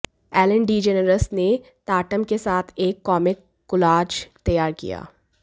Allen DeGeneres ने Tatum के साथ एक कॉमिक कोलाज तैयार किया